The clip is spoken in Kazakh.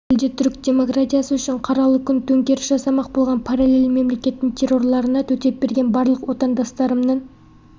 түрік демократиясы үшін қаралы күн төңкеріс жасамақ болған параллель мемлекеттің террорларына төтеп берген барлық отандастарымның